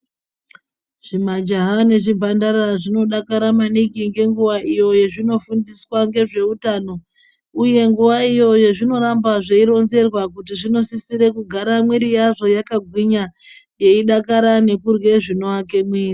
Zvimajaha nezvimhandara zvinodakara maningi ngenguwa iyo yazvinofundiswa ngezveutano uye nguwa iyo yazvinoramba zveironzerwa kuti zvinosisire kugara mwiri yazvo yakagwinya yeidakara nekurye zvinoake mwiri.